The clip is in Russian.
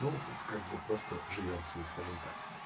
ну как бы просто живём с ней скажем так